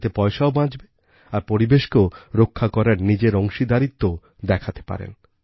এতে পয়সাও বাঁচে আর পরিবেশকে রক্ষা করার নিজের অংশীদারিত্বও দেখাতে পারেন